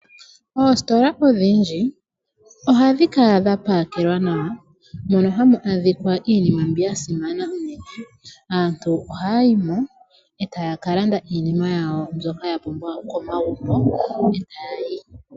Oositola odhindji, ohadhi kala dha pakelwa nawa. Mono hamu adhikwa iinima mbi ya simana. Aantu ohaya yi mo e taya ka landa iinima yawo mbyoka ya pumbwa komagumbo e taya yi.